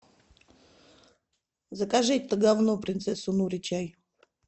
закажи это гавно принцессу нури чай